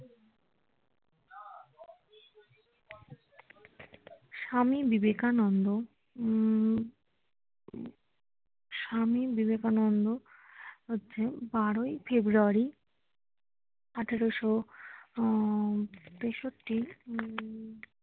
স্বামী বিবেকানন্দ হম হম স্বামী বিবেকানন্দ হচ্ছে বারোই ফেব্রুয়ারী আঠেরোশো হম তেষট্টি হম